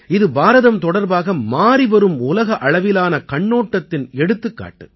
இது பாரதம் தொடர்பாக மாறி வரும் உலக அளவிலான கண்ணோட்டத்தின் எடுத்துக்காட்டு